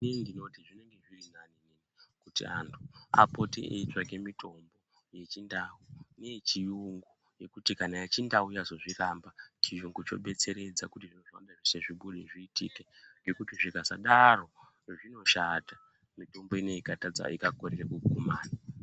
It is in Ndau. Inini ndinoti zvinenge zviri nani kuti antu apote eitsvake mitombo yechindau neyechiyungu ngekuti kana yechindau yazozviramba chiyungu chobetseredza kuti zveshe zvibude zviitike ngekuti zvikasadaro zvinoshata mitombo inei ikakorera kugumayo.